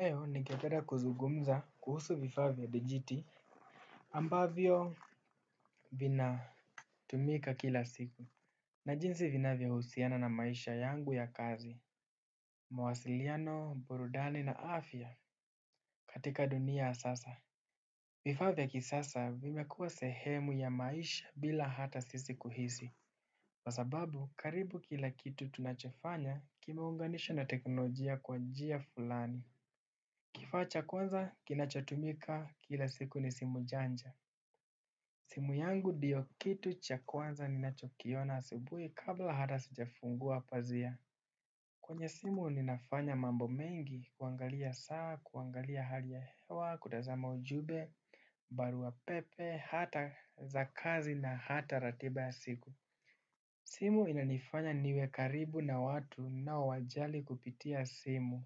Leo ningependa kuzungumza kuhusu vifaa vya dijiti ambavyo vinatumika kila siku na jinsi vinavyohusiana na maisha yangu ya kazi. Mawasiliano, burudani na afya katika dunia ya sasa. Vifaa vya kisasa vimekuwa sehemu ya maisha bila hata sisi kuhisi. Kwa sababu karibu kila kitu tunachofanya kimeunganishwa na teknolojia kwa njia fulani. Kifaa cha kwanza kinachotumika kila siku ni simu janja. Simu yangu ndiyo kitu cha kwanza ninachokiona asubuhi kabla hata sijafungua pazia. Kwenye simu ninafanya mambo mengi kuangalia saa, kuangalia hali ya hewa, kutazama ujumbe, barua pepe, hata za kazi na hata ratiba ya siku. Simu inanifanya niwe karibu na watu ninaowajali kupitia simu.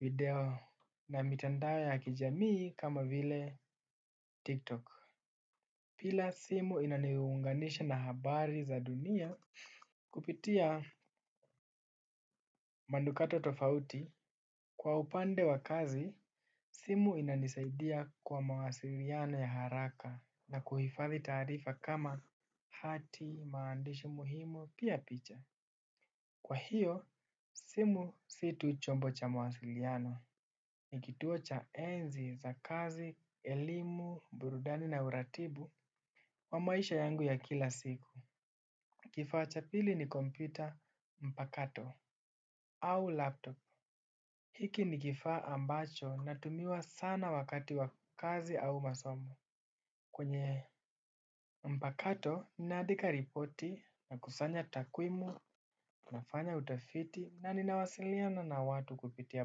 Video. Na mitandao ya kijamii kama vile tiktok. Pia simu inaniunganisha na habari za dunia kupitia manukato tofauti. Kwa upande wa kazi, simu inanisaidia kwa mawasiliano ya haraka na kuhifadhi taarifa kama hati, maandishi muhimu, pia picha. Kwa hiyo, simu si tu chombo cha mawasiliano, ni kituo cha enzi za kazi, elimu, burudani na uratibu wa maisha yangu ya kila siku. Kifaa cha pili ni kompyuta mpakato au laptop. Hiki ni kifaa ambacho inatumiwa sana wakati wa kazi au masomo. Kwenye mpakato naandika ripoti, nakusanya takwimu nafanya utafiti na ninawasiliana na watu kupitia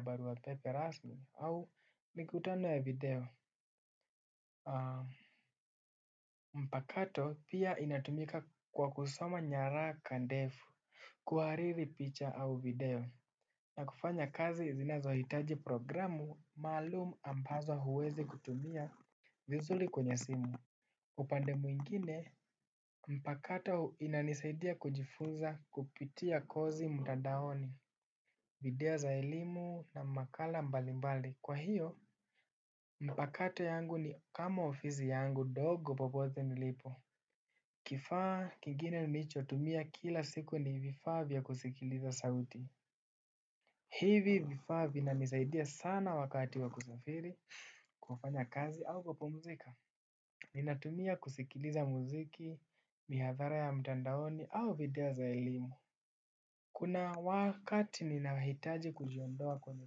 baruapepe rasmi au nikutano ya video. Mpakato pia inatumika kwa kusoma nyaraka ndefu. Kuhariri picha au video. Na kufanya kazi zinazohitaji programu maalum ambazo huwezi kutumia vizuri kwenye simu. Upande mwingine, mpakato inanisaidia kujifunza kupitia kozi mtandaoni. Video za elimu na makala mbalimbali. Kwa hiyo, mpakato yangu ni kama ofisi yangu ndogo popote nilipo. Kifaa kingine nilichotumia kila siku ni vifaa vya kusikiliza sauti. Hivi vifaa vinanisaidia sana wakati wa kusafiri, kufanya kazi au kupumzika. Ninatumia kusikiliza muziki, mihadhara ya mtandaoni au video za elimu. Kuna wakati ninahitaji kujiondoa kwenye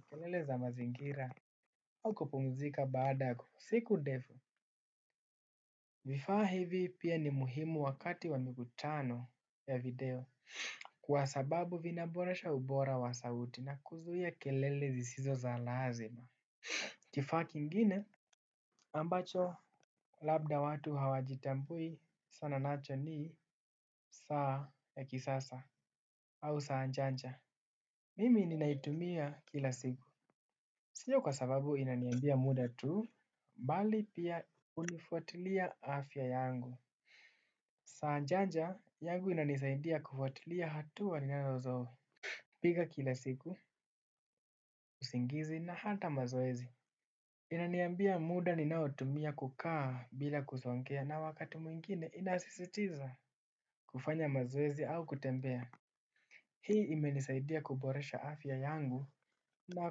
kelele za mazingira, au kupumzika baada ya siku ndefu. Vifaa hivi pia ni muhimu wakati wa mikutano ya video. Kwa sababu vinaboresha ubora wa sauti na kuzuia kelele zisizo za lazima. Kifaa kingine ambacho labda watu hawajitambui sana nacho ni saa ya kisasa au saa janja. Mimi ninaitumia kila siku. Sio kwa sababu inaniambia muda tu, bali pia hunifuatilia afya yangu. Saa janja yangu inanisaidia kufuatilia hatua ninazopiga kila siku, usingizi na hata mazoezi. Inaniambia muda ninaotumia kukaa bila kusongea na wakati mwingine inasisitiza kufanya mazoezi au kutembea. Hii imenisaidia kuboresha afya yangu na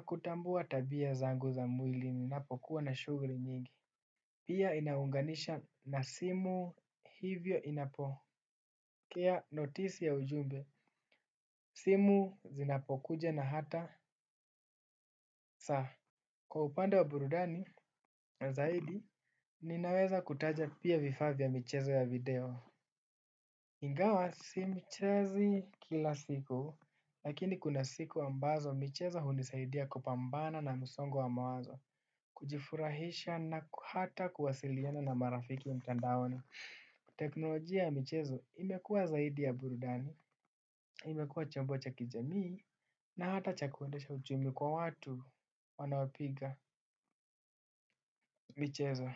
kutambua tabia zangu za mwili ninapokuwa na shughuli nyingi. Pia inaunganisha na simu hivyo inapokea notisi ya ujumbe. Simu zinapokuja na hata saa, kwa upande wa burudani, zaidi ninaweza kutaja pia vifaa vya michezo ya video. Ingawa, simchezi kila siku, lakini kuna siku ambazo, michezo hunisaidia kupambana na msongo wa mawazo, kujifurahisha na hata kuwasiliana na marafiki mtandaoni. Teknolojia ya michezo imekuwa zaidi ya burudani, imekuwa jambo cha kijamii, na hata cha kuendesha ujumbe kwa watu wanaopiga michezo.